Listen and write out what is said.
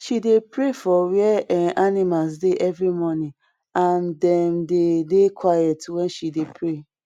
she dey pray for where em animal dey every morning and dem dey dey quiet wen she dey pray